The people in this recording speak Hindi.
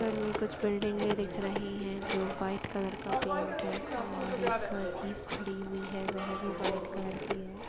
इधर में कुछ बिल्डिगें दिख रही हैं जो व्हाइट कलर का पेंट है और एक जीप खड़ी हुई है वह भी व्हाइट कलर की है।